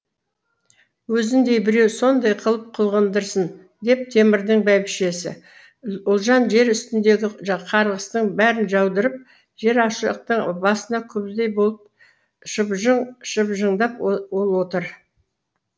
өзіңдей біреу сондай қылып қылғындырсын деп темірдің бәйбішесі ұлжан жер үстіндегі қарғыстың бәрін жаудырып жер ошақтың басында күбідей болып шыбжыңдап ол отыр